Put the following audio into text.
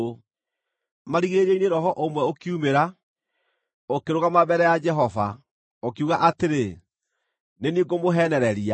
Marigĩrĩrio-inĩ roho ũmwe ũkiumĩra, ũkĩrũgama mbere ya Jehova, ũkiuga atĩrĩ, ‘Nĩ niĩ ngũmũheenereria.’